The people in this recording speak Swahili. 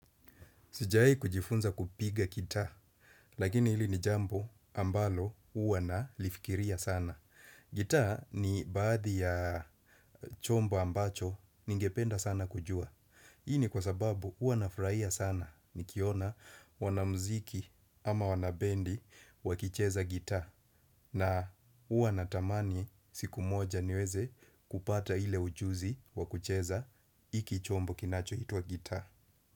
Sijawai kujifunza kupiga gitaa, lakini hili ni jambo ambalo huwa nalifikiria sana. Gitaa ni baadhi ya chombo ambacho ningependa sana kujua. Hii ni kwa sababu huwa nafurahia sana nikiona wanamziki ama wanabendi wakicheza gitaa na huwa natamani siku moja niweze kupata ile ujuzi wa kucheza iki chombo kinachoitwa gitaa.